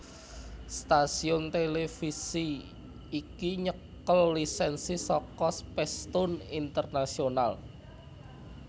Stasiun televisi iki nyekel lisensi saka Spacetoon International